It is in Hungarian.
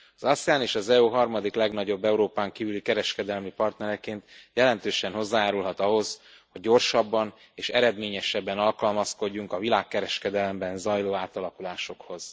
Az ASEAN az EU harmadik legnagyobb Európán kívüli kereskedelmi partnereként jelentősen hozzájárulhat ahhoz, hogy gyorsabban és eredményesebben alkalmazkodjunk a világkereskedelemben zajló átalakulásokhoz.